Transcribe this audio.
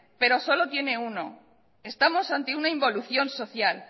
pero solo tiene uno estamos ante una involución social